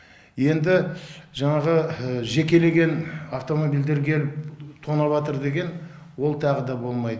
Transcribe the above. енді жаңағы жекелеген автомобильдер келіп тонап атыр деген ол тағы да болмайт